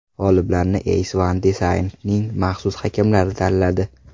G‘oliblarni EyesOn Design’ning maxsus hakamlari tanladi.